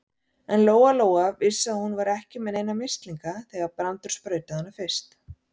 En Lóa-Lóa vissi að hún var ekki með neina mislinga þegar Brandur sprautaði hana fyrst.